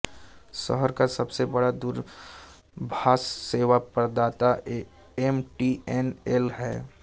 शहर का सबसे बड़ा दूरभाष सेवा प्रदाता एम टी एन एल है